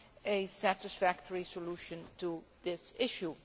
a satisfactory solution to this issue.